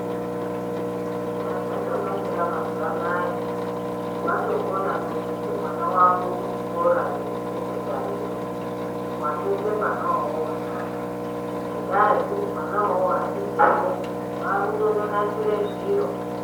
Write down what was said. Chazvatonakira mazuva anaya watokona kuendese mwana wako kuchikora chekusekendariyo, watope mwana uwowowo ndaka, ngendaa yekuti mwana iwowowo achibvepo, wakutononasire zviro.